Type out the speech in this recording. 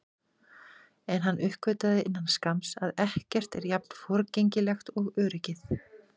En hann uppgötvaði innan skamms að ekkert er jafn forgengilegt og öryggið.